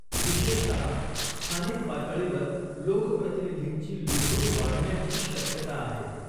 विशेषतः स्थानिक पातळीवर लोकप्रतिनिधींची लुडबूड वाढण्याची शक्यता आहे.